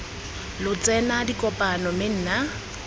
lo tsena dikopano mme nna